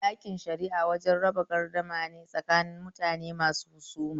Ɗakin shari'a wajen raba garda mane tsakanin mutune masu husuma